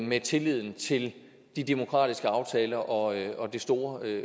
med tilliden til de demokratiske aftaler og og det store